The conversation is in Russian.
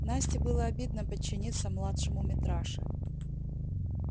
насте было обидно подчиниться младшему митраше